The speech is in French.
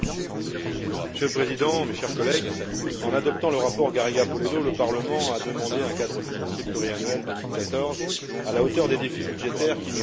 Monsieur le Président, chers collègues, en adoptant le rapport Garriga Polledo, le Parlement a demandé un cadre financier pluriannuel 2014 à la hauteur des défis budgétaires qui nous attendent.